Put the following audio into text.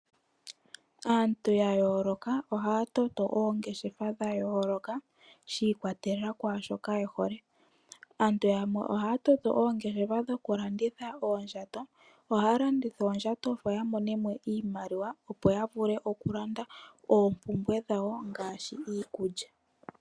Aantu ya yooloka ohaya toto oongeshefa dha yooloka, shi ikwatelela kwaashoka ye hole. Aantu yamwe ohaya toto oongeshefa dhoku landitha oondjato, ohaya landitha oondjato opo ya mone mo iimaliwa, opo ya vule oku landa oompumbwe dhawo ngaashi iikulya.